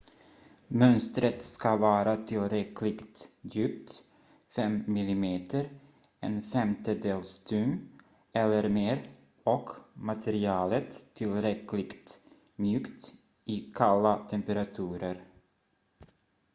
mönstret ska vara tillräckligt djupt 5 mm 1/5 tum eller mer och materialet tillräckligt mjukt i kalla temperaturer